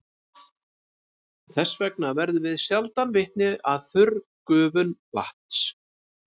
Þess vegna verðum við sjaldan vitni að þurrgufun vatns.